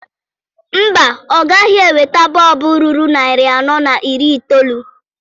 Mba, ọ gaghị eweta bọọbụ ruru narị anọ na iri itoolu.